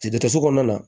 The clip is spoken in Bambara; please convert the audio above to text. dɔgɔtɔrɔso kɔnɔna na